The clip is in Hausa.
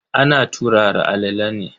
Ana turara alala ne.